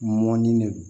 Mɔni de don